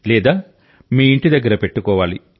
లేదా మీ ఇంటి దగ్గర పెట్టుకోవాలి